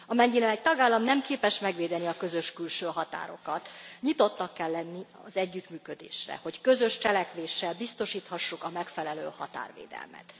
Amennyiben egy tagállam nem képes megvédeni a közös külső határokat, nyitottnak kell lenni az együttműködésre, hogy közös cselekvéssel biztosíthassuk a megfelelő határvédelmet.